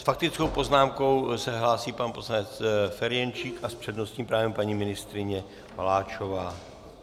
S faktickou poznámkou se hlásí pan poslanec Ferjenčík a s přednostním právem paní ministryně Maláčová.